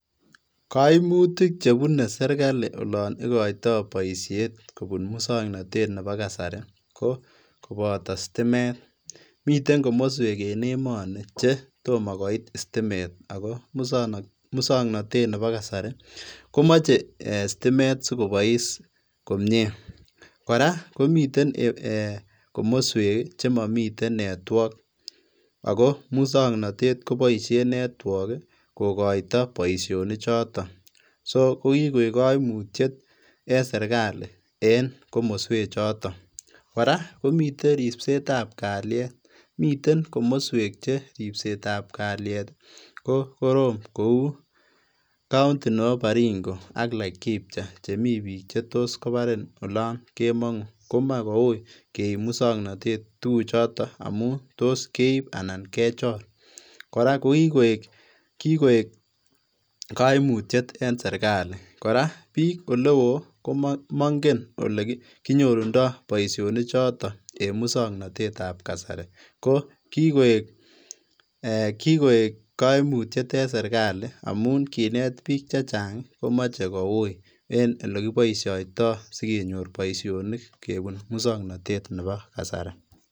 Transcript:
Koimutik chebune serikali olon ikoito boisiet kobun muswoknotet neboo kasari ko koboto sitimet, miten komoswek en emoni chetomo koit sitimet akoo muswoknotet neboo kasari komoche sitimet sikobois komnyee, kora komiten eeh komoswek chemomii network akoo muswoknotet koboishen network kokoito boishonichoton, so kokikoik koimutiet en serikali en komoswechoton, kora komiten ribsetab kalyet miten komoswek cheribsetab kalyet kokorom kouu county neboo Baringo ak Laikipia elemii biik chetot kobarin olon kemong'uu komoe koui keib muswoknotet tukuchuto amun toos keib anan kechor, kora kokikoik koimutiet en serikali, kora biik olewo komong'en olekinyorundo boishonichoton en muswoknotetab kasari, ko kikoik koimutyet en serikali amun kineet biik chechang komoche kouii en elekiboishoitoi sikenyor boishonik kebun muswoknotet neboo kasari.